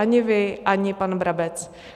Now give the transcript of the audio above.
Ani vy, ani pan Brabec.